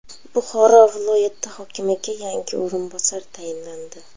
Buxoro viloyati hokimiga yangi o‘rinbosar tayinlandi.